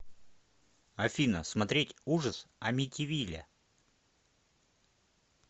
афина смотреть ужас амитивилля